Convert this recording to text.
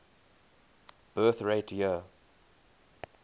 birth rate year